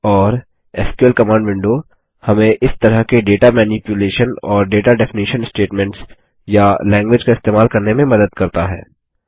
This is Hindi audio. और एसक्यूएल कमांड विंडो हमें इस तरह के डेटा मैनिप्युलेशन और डेटा डेफिनेशन स्टेटमेंट्स या लैंग्वेज का इस्तेमाल करने में मदद करता है